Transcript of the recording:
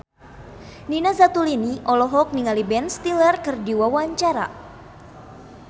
Nina Zatulini olohok ningali Ben Stiller keur diwawancara